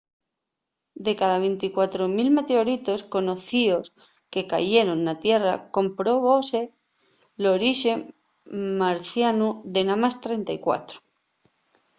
de cada 24.000 meteoritos conocíos que cayeron na tierra comprobóse l’orixe marcianu de namás 34